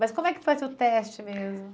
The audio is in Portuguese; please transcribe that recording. Mas como é que foi o seu teste mesmo?